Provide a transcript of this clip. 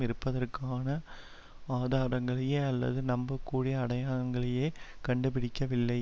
இருப்பதற்கான ஆதாரங்களையே அல்லது நம்பக்கூடிய அடையாளங்களையே கண்டுபிடிக்கவில்லை